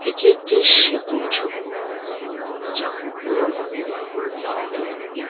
এটি একটি সেতুর ছবি যা বিভিন্ন নদীর ওপরে দাওয়া হয়ে থাকে ।